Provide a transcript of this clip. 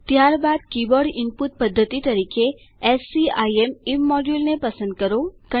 ત્યારબાદ keyboard input પદ્ધતિ તરીકે એસસીઆઈએમ ઈમમોડ્યુલને પસંદ કરો